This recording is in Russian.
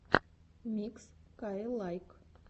микс каилайк